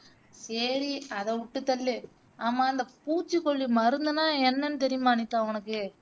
சரி அதை விட்டுத்தள்ளு ஆம இந்த பூச்சிக்கொல்லி மருந்துன்னா என்னன்னு தெரியுமா அனிதா உனக்கு